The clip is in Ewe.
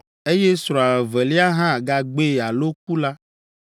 eye srɔ̃a evelia hã gagbee alo ku la,